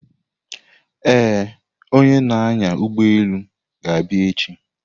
Ee, onye na-anya ụgbọelu ga-abịa echi.